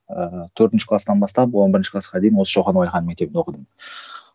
ыыы төртінші кластан бастап он бірінші класқа дейін осы шоқан уалиханов мектебінде оқыдым